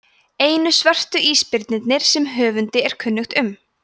einu svörtu ísbirnirnir sem höfundi er kunnugt um